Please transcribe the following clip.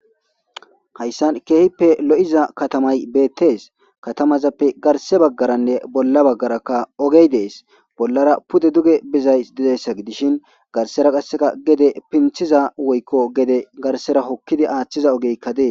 hayssan keehippe lo7iza katamay beettees katamazappe garse baggaranne bolla baggaraka ogey dees bollara pude duge bizay didessa gidishin garsera qasseka gede pinthiza woykko gede garsera hokkidi aaththiza ogeykka dee